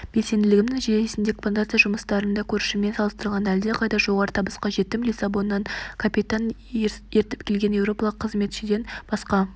белсенділігімнің нәтижесінде плантация жұмыстарында көршіммен салыстырғанда әлдеқайда жоғары табысқа жеттім лиссабоннан капитан ертіп келген еуропалық қызметшіден басқа